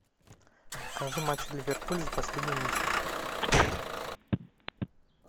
покажи матч ливерпуль за последний месяц